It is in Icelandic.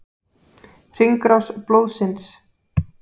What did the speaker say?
Hringrás blóðsins.